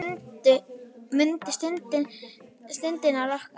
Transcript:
Mundu stundirnar okkar.